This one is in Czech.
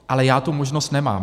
Ale já tu možnost nemám.